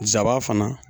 Jaba fana